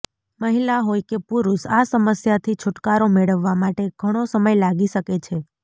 મહિલા હોય કે પુરૂષ આ સમસ્યાથી છૂટકારો મેળવવા માટે ઘણો સમય લાગી શકે છે